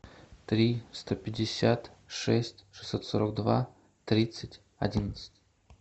три сто пятьдесят шесть шестьсот сорок два тридцать одиннадцать